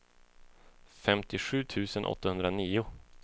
femtiosju tusen åttahundranio